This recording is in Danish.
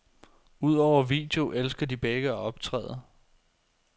Udover video elsker de begge at optræde.